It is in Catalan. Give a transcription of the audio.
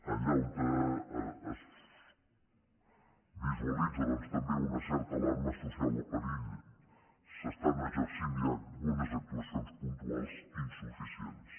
allà on es visualitza també una certa alarma social o perill s’estan exercint ja unes actuacions puntuals insuficients